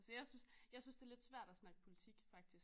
Altså jeg synes jeg synes det er lidt svært at snakke politik faktisk